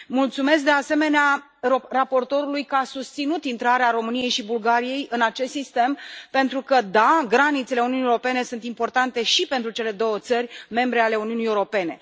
Mulțumesc, de asemenea, raportorului că a susținut intrarea României și Bulgariei în acest sistem, pentru că, da, granițele Uniunii Europene sunt importante și pentru cele două țări membre ale Uniunii Europene.